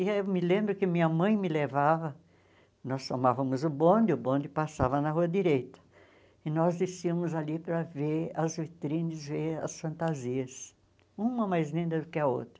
E eu me lembro que minha mãe me levava, nós tomávamos o bonde, o bonde passava na rua direita, e nós desciamos ali para ver as vitrines, ver as fantasias, uma mais linda do que a outra.